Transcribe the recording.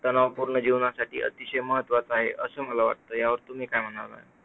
तणावपूर्ण जीवनासाठी अतिशय महत्त्वाचा आहे, असं मला वाटतं यावर तुम्ही म्हणता?